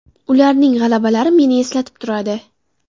Ularning g‘alabalari meni eslatib turadi.